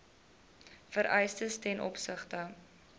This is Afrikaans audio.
vereistes ten opsigte